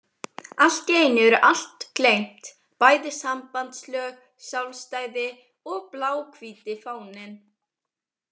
Allt í einu er allt gleymt, bæði sambandslög, sjálfstæði og bláhvíti fáninn.